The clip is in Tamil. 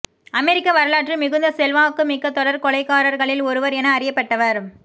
அமெரிக்க வரலாற்றில் மிகுந்த செல்வாக்குமிக்க தொடர் கொலைகாரர்களில் ஒருவர் என அறியப்பட்டவர்